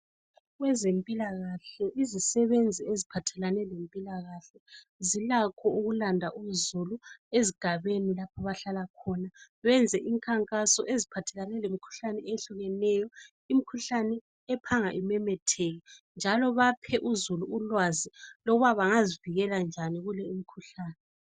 Kwezempilakahle izisebenzi eziphalane lempilakahle zilakho ukulanda uzulu ezigabeni lapha abahlala khona benze imkhankaso eziphathelane lemikhuhlane eyehlukeneyo imkhuhlane ephanga imemetheke njalo baphe uzulu ulwazi lokuba bangazivikela njani kule imkhuhlane